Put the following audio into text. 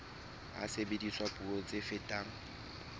ha sebediswa puo tse fetang